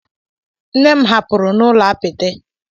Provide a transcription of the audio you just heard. Nne m hapụrụ n'ụlọ apịtị.